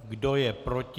Kdo je proti?